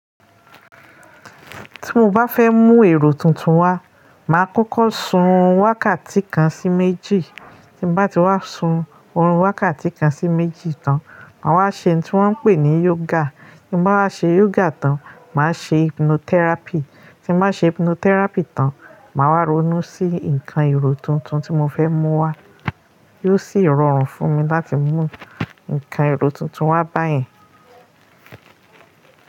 Tí mo bá fẹ́ mú èrò tuntun wá, màá kọ́kọ́ sun orun wákàtí kan sí méjì. Tí bá ti wá sun orun wákàtí kan sí méjì tán, màá wá ṣe oun tí wọn ń pè ní yoga. Tí bá wá ṣe yoga tán, màá ṣe hypnotherapy. Tí bá ṣe hypnotherapy tán, màá wá ronú sí ǹkan èrò tuntun tí mo fẹ́ mú wá, yóò sì rọrùn fún mi láti mú ǹkan èrò tuntun wá báyẹn.